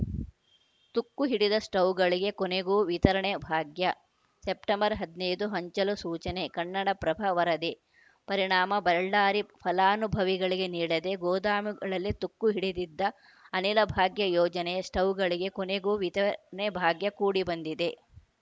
ತುಕ್ಕು ಹಿಡಿದ ಸ್ಟವ್‌ಗಳಿಗೆ ಕೊನೆಗೂ ವಿತರಣೆ ಭಾಗ್ಯ ಸೆಪ್ಟೆಂಬರ್ ಹದಿನೈದು ಹಂಚಲು ಸೂಚನೆ ಕನ್ನಡಪ್ರಭ ವರದಿ ಪರಿಣಾಮ ಬಳ್ಳಾರಿ ಫಲಾನುಭವಿಗಳಿಗೆ ನೀಡದೆ ಗೋದಾಮುಗಳಲ್ಲಿ ತುಕ್ಕು ಹಿಡಿದಿದ್ದ ಅನಿಲಭಾಗ್ಯ ಯೋಜನೆಯ ಸ್ಟವ್‌ಗಳಿಗೆ ಕೊನೆಗೂ ವಿತರಣೆ ಭಾಗ್ಯ ಕೂಡಿ ಬಂದಿದೆ